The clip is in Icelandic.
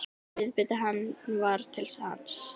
Viðbiti hann var til sanns.